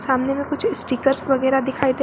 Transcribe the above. सामने में कुछ स्टिकर वगैरह दिखाई दे।